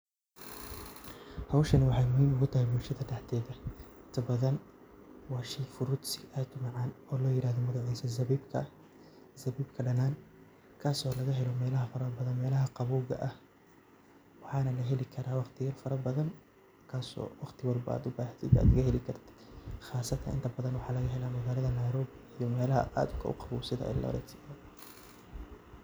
Howshan waxay muhiim utahay bulshada dhaxdeeda inta badan waa shey fruits ah oo aad u macaan oo la yirahdo zabibka, zabibkadhanan kaaso laga helo mela fara badan melaha qabowga ah waxana laheli karaa waqtiyaha badan kaaso markad u bahato ad heli karto qaasatan inta badan waxa laga hela magalada Nairobi iyo melaha aadka u qawow sida eldoret